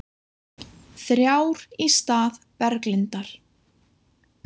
Þrjár í stað Berglindar